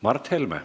Mart Helme.